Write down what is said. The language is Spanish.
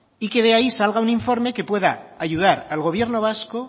y que de ahí salga un informe que pueda ayudar al gobierno vasco